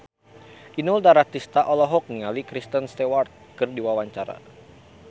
Inul Daratista olohok ningali Kristen Stewart keur diwawancara